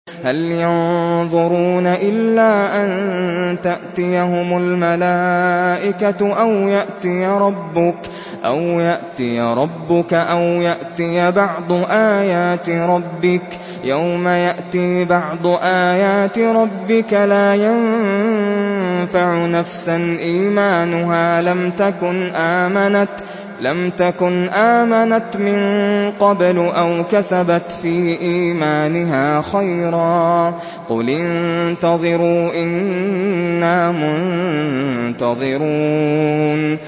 هَلْ يَنظُرُونَ إِلَّا أَن تَأْتِيَهُمُ الْمَلَائِكَةُ أَوْ يَأْتِيَ رَبُّكَ أَوْ يَأْتِيَ بَعْضُ آيَاتِ رَبِّكَ ۗ يَوْمَ يَأْتِي بَعْضُ آيَاتِ رَبِّكَ لَا يَنفَعُ نَفْسًا إِيمَانُهَا لَمْ تَكُنْ آمَنَتْ مِن قَبْلُ أَوْ كَسَبَتْ فِي إِيمَانِهَا خَيْرًا ۗ قُلِ انتَظِرُوا إِنَّا مُنتَظِرُونَ